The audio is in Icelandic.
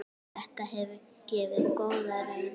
Þetta hefur gefið góða raun.